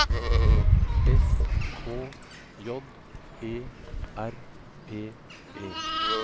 S K J E R P E